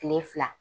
Kile fila